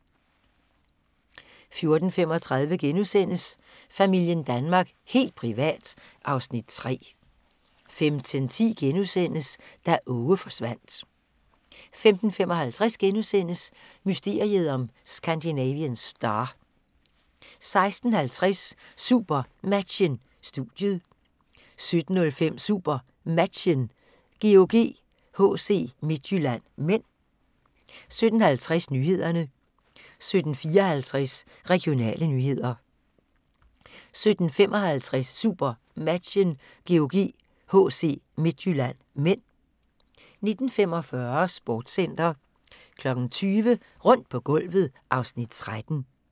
14:35: Familien Danmark – helt privat (Afs. 3)* 15:10: Da Aage forsvandt * 15:55: Mysteriet om Scandinavian Star * 16:50: SuperMatchen: Studiet 17:05: SuperMatchen: GOG-HC Midtjylland (m) 17:50: Nyhederne 17:54: Regionale nyheder 17:55: SuperMatchen: GOG-HC Midtjylland (m) 19:45: Sportscenter 20:00: Rundt på gulvet (Afs. 13)